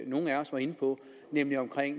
nogle af os var inde på nemlig om